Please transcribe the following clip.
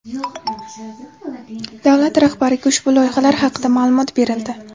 Davlat rahbariga ushbu loyihalar haqida ma’lumot berildi.